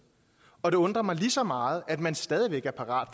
og det undrer mig lige så meget at man stadig væk er parat